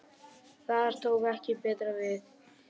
Þar tók ekki betra við